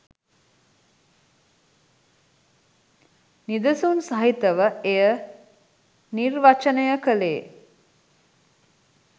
නිදසුන් සහිතව එය නිර්වචනය කළේ